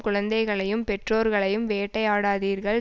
குழந்தைகளையும் பெற்றோர்களையும் வேட்டையாடாதீர்கள்